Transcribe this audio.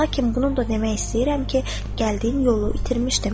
Lakin bunu da demək istəyirəm ki, gəldiyim yolu itirmişdim.